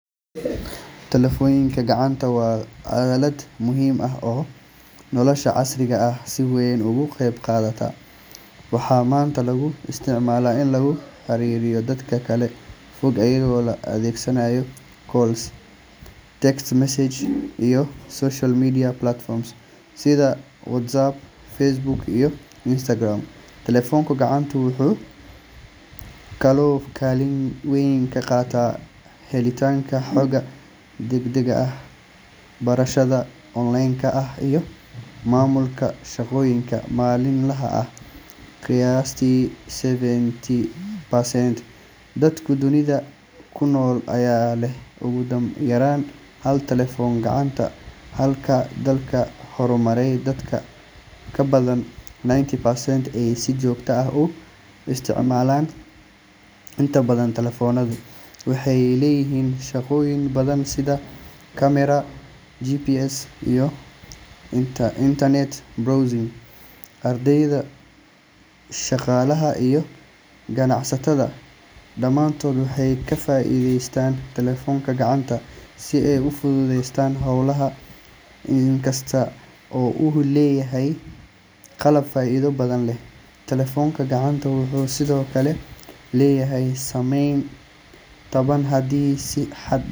Telefoonka gacanta waa aalad muhiim ah oo nolosha casriga ah si weyn uga qayb qaadata. Waxaa maanta lagu isticmaalaa in lagu xiriiriyo dad kala fog, iyadoo la adeegsanayo calls, text messages, iyo social media platforms sida WhatsApp, Facebook, iyo Instagram. Telefoonka gacantu wuxuu kaloo kaalin weyn ka qaataa helitaanka xogta degdegga ah, barashada onleenka ah, iyo maamulka shaqooyinka maalinlaha ah. Qiyaastii seventy percent dadka dunida ku nool ayaa leh ugu yaraan hal telefoon gacanta, halka dalalka horumaray dad ka badan ninety percent ay si joogto ah u isticmaalaan. Inta badan telefoonadu waxay leeyihiin shaqooyin badan sida camera, GPS, iyo internet browsing. Ardayda, shaqaalaha, iyo ganacsatada dhammaantood waxay ka faa’iideystaan telefoonka gacanta si ay u fududeeyaan hawlahooda. Inkasta oo uu yahay qalab faa’iido badan leh, telefoonka gacanta wuxuu sidoo kale leeyahay saameyn taban haddii si xad.